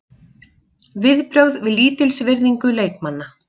Viðbrögð við lítilsvirðingu leikmanna?